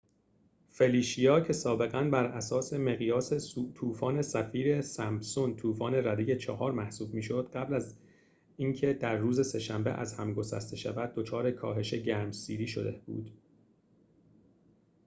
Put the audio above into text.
فلیشیا که سابقا براساس مقیاس طوفان سفیر-سمپسون طوفان رده ۴ محسوب می‌شد قبل از از اینکه در روز سه شنبه از هم گسسته شود دچار کاهش گرمسیری شده بود